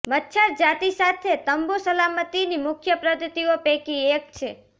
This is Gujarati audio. મચ્છર જાતિ સાથે તંબુ સલામતીની મુખ્ય પદ્ધતિઓ પૈકી એક છે